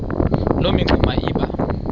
loo mingxuma iba